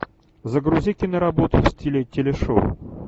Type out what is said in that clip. загрузи киноработу в стиле телешоу